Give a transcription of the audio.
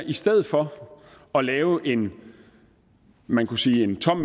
i stedet for at lave en man kunne sige tom